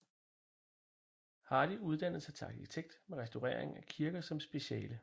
Hardy uddannede sig til arkitekt med restaurering af kirker som speciale